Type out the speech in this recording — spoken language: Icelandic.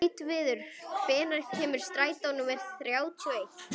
Gautviður, hvenær kemur strætó númer þrjátíu og eitt?